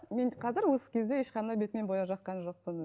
мен қазір осы кезде ешқандай бетіме бояу жаққан жоқпын